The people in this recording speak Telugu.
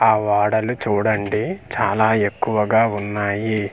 ఆ వాడలు చూడండి చాలా ఎక్కువగా ఉన్నాయి.